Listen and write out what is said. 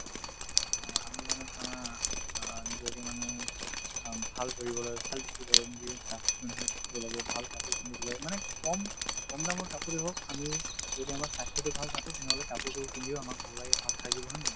অ, আমি মানে ধৰা অ নিজকে মানে ভাল কৰিবলৈ ভাল দেখিবলৈ নিজে চাফ-চিকুণ হৈ থাকিব লাগে ভাল কাপোৰ পিন্ধিব লাগে মানে কম কম দামৰ কাপোৰে হওঁক আমি যদি আমাৰ স্বাস্থ্যতো ভাল ৰাখো তেনেহ'লে কাপোৰতো পিন্ধিও আমাক ভাল লাগে ভাল সাজিব হয় নে নহয়